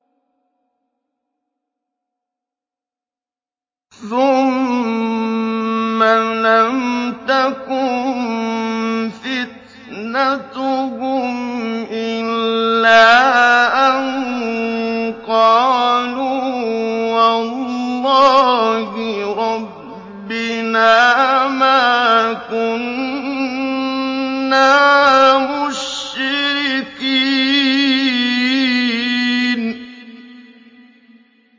ثُمَّ لَمْ تَكُن فِتْنَتُهُمْ إِلَّا أَن قَالُوا وَاللَّهِ رَبِّنَا مَا كُنَّا مُشْرِكِينَ